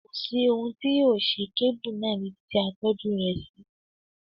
Kò sí ohun tí yóò ṣe kébù náà níbi ti a tọ́jú rẹ̀ sí.